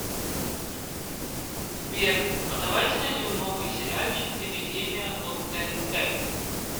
сбер а давайте найдем новый сериальчик эпидемия от тнт